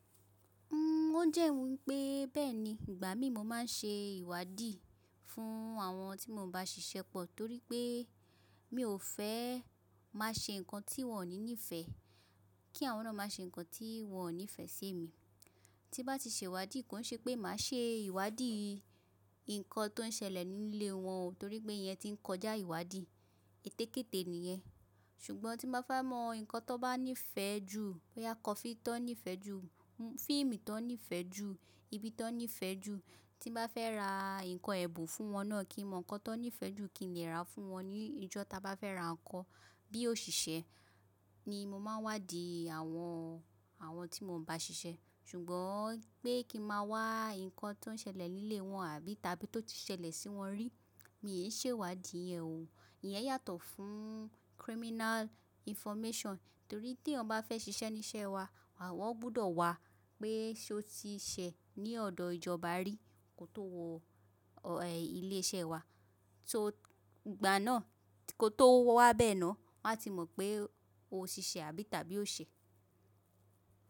O jẹ wípé bẹ́ẹ̀ni, ìgbà mí mo ma n ṣe ìwádìí fún àwọn tí mo ń bá ṣiṣẹ́ pọ̀ torípé mi ò fẹ́ má ṣe nǹkan tí wọ́n ò ní ìfẹ́, kí àwọn náà má ṣe nǹkan tí wọn ò nífẹ́ sí mi. Tí bá ti ṣèwádìí, kò ṣe pé màá ṣe ìwádìí nǹkan tó n selẹ̀ nílé wọn o torípé ìyẹn ti n kọjá ìwádìí, ètékète ni ìyẹn. Ṣùgbọ́n tí mo bá fẹ́ mọ nǹkan tó bá nífẹ̀ẹ́ ju, boya a kọfii nífẹ̀ẹ́ ju, fíìmù tó nífẹ̀ẹ́ ju, ibi tó nífẹ̀ẹ́ ju, tí mo bá fẹ́ ra nǹkan ẹ́bùn fún wọn náà kí n mọ nǹkan tó nífẹ̀ẹ́ jù kí n lè ra fún wọn ní ìjọ́ ta bá fẹ́ ra nǹkan. Bí òṣìṣẹ́ ni mo ma ń wádìí àwọn, àwọn tí mo n bá ṣiṣẹ́, ṣùgbọ́n pé kí ma wá nǹkan tó n selẹ̀ nílé wọn àbí tàbí tó ti ṣẹlẹ̀ sí wọn rí, mi ò ṣe ìwádìí iyẹn o. Iyẹn yàtọ̀ fún criminal information torí tí eyan bá fẹ́ ṣiṣẹ́ ní iṣẹ́ wa wọ́n gbọ́dọ̀ wá pé ṣé o ti ṣẹ̀ ní ọ̀dọ̀ ìjọba rí, kó tó wọ ilé iṣẹ́ wa. So ìgbà náà kó tó wá bẹ́ẹ̀ náà, wọn a ti mọ̀ pé o tiṣẹ́ àbí tàbí o ṣẹ̀.